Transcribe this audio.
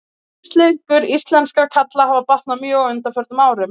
Lífslíkur íslenskra karla hafa batnað mjög á undanförnum árum.